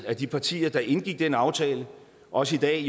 at de partier der indgik den aftale også i dag